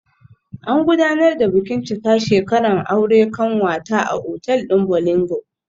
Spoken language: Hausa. An gudanar da bikin cika shekaran aure kanwata a otal din Bolingo